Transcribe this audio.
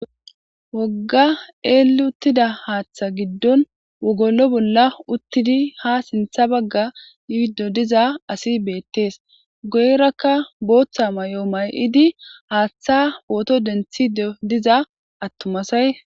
Woga elli uttida haatha gidon wogolo bolla uttidi ha sintha baga yido diza asi beetes. Guyeraka bootha mayo mayidi haatha photo denthiidi diza attuma asay dees.